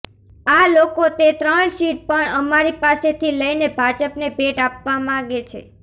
આ લોકો તે ત્રણ સીટ પણ અમારી પાસેથી લઇને ભાજપને ભેટ આપવા માંગે છે